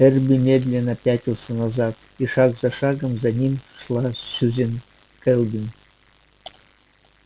эрби медленно пятился назад и шаг за шагом за ним шла сьюзен кэлвин